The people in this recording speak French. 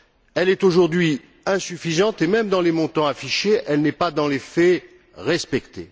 Elle est aujourd'hui insuffisante et, même dans les montants affichés, elle n'est pas, dans les faits, respectée.